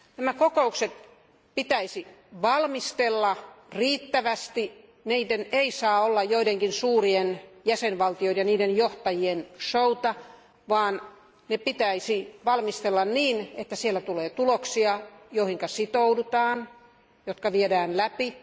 Näitä kokouksia pitäisi valmistella riittävästi, ne eivät saa olla joidenkin suurien jäsenvaltioiden ja niiden johtajien show'ta, vaan ne pitäisi valmistella niin, että siellä tulee tuloksia, joihin sitoudutaan ja jotka viedään läpi.